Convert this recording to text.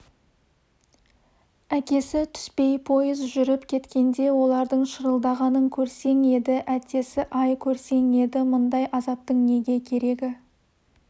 әкесі түспей пойыз жүріп кеткенде олардың шырылдағанын көрсең еді әттесі-ай көрсең еді мұндай азаптың неге керегі